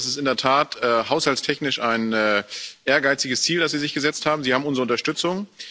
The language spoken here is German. Sie haben Recht, das ist in der Tat haushaltstechnisch ein ehrgeiziges Ziel, das Sie sich gesetzt haben. Sie haben unsere Unterstützung.